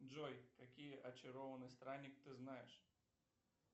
джой какие очарованный странник ты знаешь